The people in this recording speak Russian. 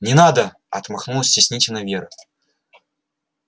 не надо отмахнулась стеснительно вера